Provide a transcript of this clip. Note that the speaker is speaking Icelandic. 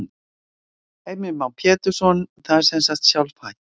Heimir Már Pétursson: Það er sem sagt sjálfhætt?